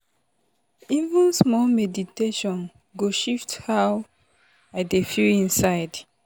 even small meditation go shift how i dey feel inside.